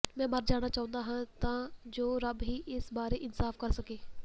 ਮੈਂ ਮਰ ਜਾਣਾ ਚਾਹੁੰਦਾ ਹਾਂ ਤਾਂ ਜੋ ਰੱਬ ਹੀ ਇਸ ਬਾਰੇ ਇਨਸਾਫ ਕਰ ਸਕੇ